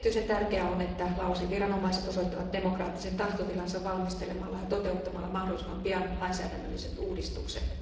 Erityisen tärkeää on, että Laosin viranomaiset osoittavat demokraattisen tahtotilansa valmistelemalla ja toteuttamalla mahdollisimman pian lainsäädännölliset uudistukset.